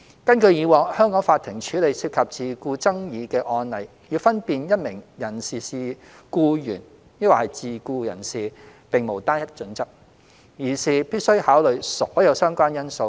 根據以往香港法庭處理涉及自僱爭議的案例，要分辨一名人士是僱員或自僱人士，並無單一準則，而是必須考慮所有相關因素。